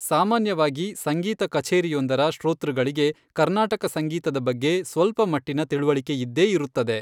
ಸಾಮಾನ್ಯವಾಗಿ ಸಂಗೀತ ಕಛೇರಿಯೊಂದರ ಶ್ರೋತೃಗಳಿಗೆ ಕರ್ನಾಟಕ ಸಂಗೀತದ ಬಗ್ಗೆ ಸ್ವಲ್ಪಮಟ್ಟಿನ ತಿಳಿವಳಿಕೆಯಿದ್ದೇ ಇರುತ್ತದೆ.